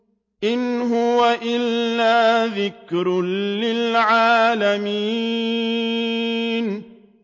إِنْ هُوَ إِلَّا ذِكْرٌ لِّلْعَالَمِينَ